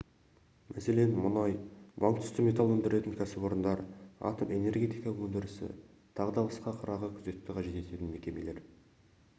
мәселен мұнай банк түсті металл өндіретін кәсіпорындар атом-энергетика өндірісі тағы басқа қырағы күзетті қажет ететін мекемелер